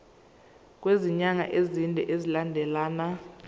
kwezinyanga ezine zilandelana